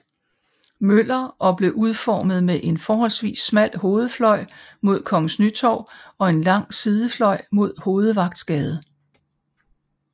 Møller og blev udformet med en forholdsvis smal hovedfløj mod Kongens Nytorv og en lang sidefløj mod Hovedvagtsgade